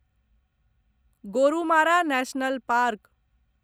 Gorumara National park